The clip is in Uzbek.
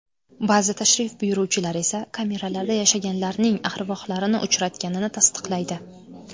Ba’zi tashrif buyuruvchilar esa kameralarda yashaganlarning arvohlarini uchratganini tasdiqlaydi.